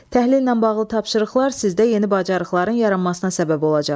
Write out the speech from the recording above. Təhlillə bağlı tapşırıqlar sizdə yeni bacarıqların yaranmasına səbəb olacaq.